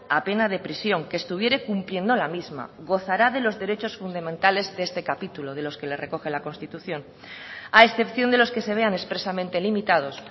a pena de prisión que estuviere cumpliendo la misma gozará de los derechos fundamentales de este capítulo de los que le recoge la constitución a excepción de los que se vean expresamente limitados